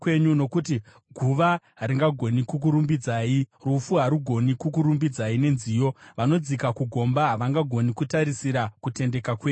Nokuti guva haringagoni kukurumbidzai, rufu harugoni kukurumbidzai nenziyo; vanodzika kugomba havangagoni kutarisira kutendeka kwenyu.